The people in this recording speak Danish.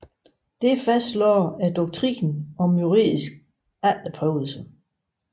Det fastlagde doktrinen om juridisk efterprøvelse